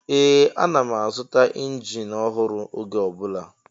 Ee! Ana m azụta injin ọhụrụ oge ọ bụla.